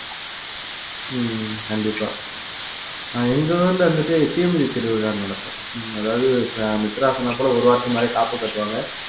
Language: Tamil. உம் கண்டிப்பா ஆஹ் எங்க ஊர்ல வந்துட்டு தீமிதி திருவிழா நடக்கும் அதாவது மித்ரா சொன்னா கூட ஒரு வாரத்துக்கு முன்னாடியே காப்பு கட்டுவாங்க